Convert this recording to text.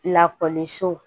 Lakɔliso